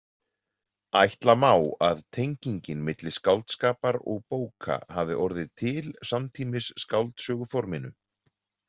Ætla má að tengingin milli skáldskapar og bóka hafi orðið til samtímis skáldsöguforminu.